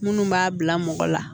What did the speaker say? Minnu b'a bila mɔgɔ la